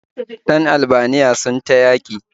Ɗan Albaniyan nan son ta ya ke